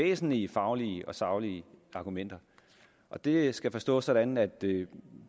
væsentlige faglige og saglige argumenter og det skal forstås sådan at det